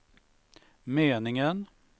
meningen